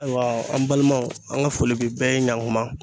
Ayiwa an balimaw an ka foli bi bɛɛ ye ɲanguba.